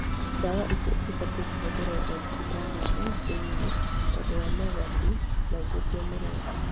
Ndwa icĩo cibatĩe kũhũthĩrwo omathibitarĩ-inĩ thĩinĩ tondũ wa mogawati maingĩ kwĩ mũrwaru